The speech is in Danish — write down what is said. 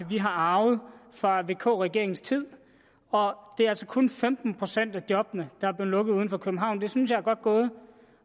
vi har arvet fra vk regeringens tid og det er altså kun femten procent af de job der er lukket uden for københavn det synes jeg er godt gået